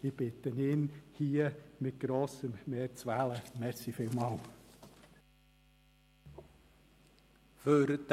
Ich bitte darum, ihn hier mit grossem Mehr zu wählen.